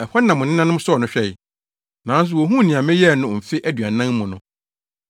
Ɛhɔ na mo nenanom sɔɔ no hwɛe, nanso wohuu nea meyɛɛ no mfe aduanan mu no.